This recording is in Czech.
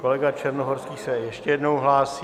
Kolega Černohorský se ještě jednou hlásí.